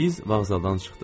Biz vağzaldan çıxdıq.